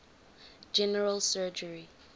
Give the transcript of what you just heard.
general surgery